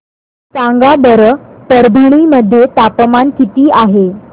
सांगा बरं परभणी मध्ये तापमान किती आहे